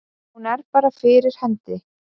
Hún er bara fyrir hendi.